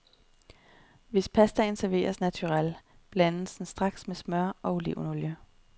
Hvis pastaen serveres naturel, blandes den straks med smør eller olivenolie.